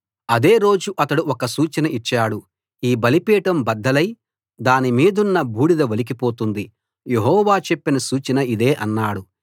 అదే రోజు అతడు ఒక సూచన ఇచ్చాడు ఈ బలిపీఠం బద్దలై దానిమీదున్న బూడిద ఒలికి పోతుంది యెహోవా చెప్పిన సూచన ఇదే అన్నాడు